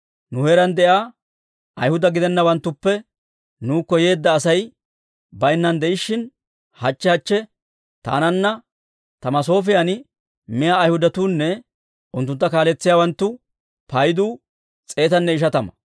Nu heeraan de'iyaa Ayhuda gidennawanttuppe nuukko yeedda Asay baynnan de'ishshin, hachche hachche taananna ta masoofiyan miyaa Ayhudatuunne unttuntta kaaletsiyaawanttu paydu s'eetanne ishatama.